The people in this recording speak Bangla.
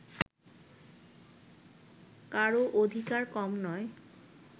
কারও অধিকার কম নয়